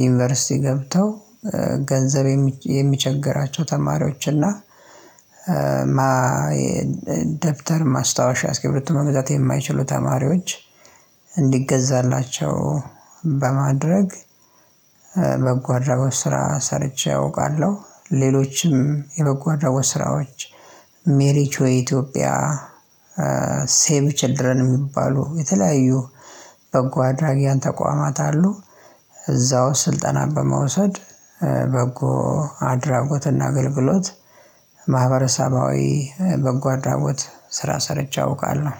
ዩኒቨርሲቲ ገብተው ገንዘብ የሚ የሚቸገራቸው ተማሪዎች እና የ ደብተር ማስታወሻ አስክርብቶ መግዛት የማይችሉ ተማሪዎች እንዲገዛላቸው በማድረግ በጓ አድራጎት ስራ ሰርቼ አውቃለሁ። ሌሎችም የመጓደኞች ስራዎች ሜሪቾይ የኢትዮጵያ ሴቭ ቸልድረን የሚባሉ የተለያዩ በጎ አድራጊያን ተቋማት አሉ። እዛው ስልጠና በመውሰድ በጎ አድራጎትና አገልግሎት ማህበረሰባዊ በጎ አድራቦት ስራ ሰርቼ አውቃለሁ።